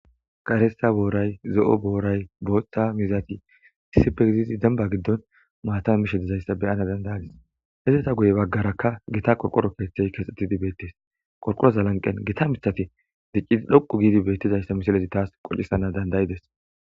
karessa booray zo7o booray booththa mizati isipegizizi demba giddon maata mishedizayssa beyana dandayadis hezeta guye baggaraka gita qorqoro keeththey keexxetidi beettes qorqoroza lanqen gita mithafe diccidi dhoqu giidi bettizayssa mishalezi taas qocisana dandayides